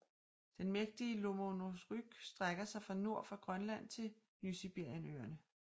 Den mægtige Lomonosovryg strækker sig fra nord for Grønland til Nysibirienøerne